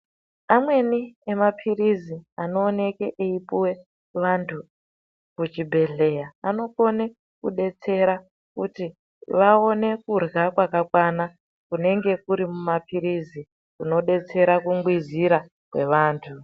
Amweni mapilisi anooneka echipuwa vantu muzvibhedhlera anokone kudetsereka kuti vaone kurya kwakakwana kunenge kuri muma pirizi zvinodetsera kungwizira kwevantu.